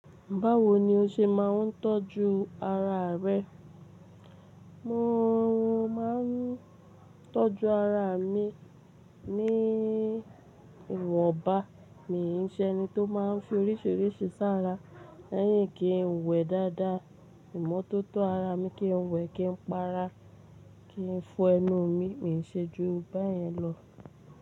Báwo ni o ṣe máa ń tọ́jú ara rẹ? Mo máa ń tọ́jú ara mi ní ìwọ̀nba, mi n ṣe ẹni tó máa ń fi oríṣiríṣi ṣára, lẹ́yìn kí n wẹ̀ dáadáa, ìmọ́tótó ara mi kí n wẹ̀ kí n para, kí n fọ ẹnu mi, mi n ṣe ju báyìí lọ.